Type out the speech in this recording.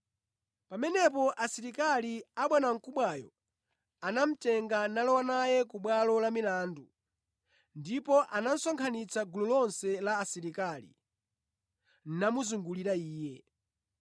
Pamenepo asilikali abwanamkubwayo anamutenga nalowa naye ku bwalo la milandu ndipo anasonkhanitsa gulu lonse la asilikali namuzungulira Iye.